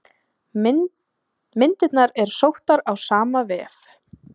Myndirnar er sóttar á sama vef.